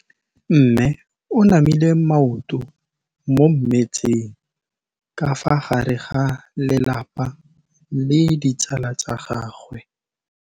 Mme o namile maoto mo mmetseng ka fa gare ga lelapa le ditsala tsa gagwe.